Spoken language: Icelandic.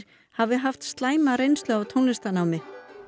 hafi haft slæma reynslu af tónlistarnámi